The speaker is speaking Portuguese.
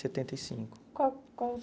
Setenta e cinco. Qual quais